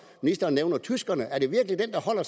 ministeren nævner tyskerne er det virkelig den der holder